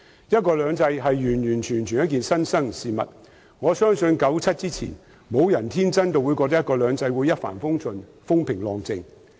"一國兩制"是新生事物，我相信1997年以前，沒有人會天真地認為"一國兩制"會一帆風順、風平浪靜。